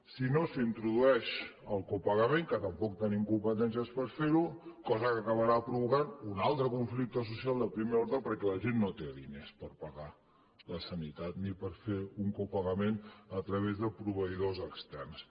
si no s’introdueix el copagament que tampoc tenim competències per fer ho cosa que acabarà provocant un altre conflicte social de primer ordre perquè la gent no té diners per pagar la sanitat ni per fer un copagament a través de proveïdors externs